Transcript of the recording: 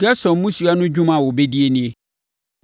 “Gerson mmusua no dwuma a wɔbɛdie nie: